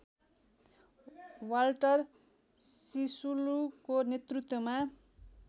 Walter सिसुलुको नेतृत्वमा